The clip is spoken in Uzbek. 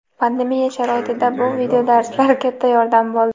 pandemiya sharoitida bu videodarslar katta yordam bo‘ldi.